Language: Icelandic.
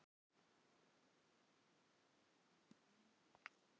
Við höfum nú þraukað þetta síðan saman í fimmtíu ár.